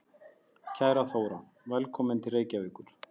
Kæra Þóra. Velkomin til Reykjavíkur.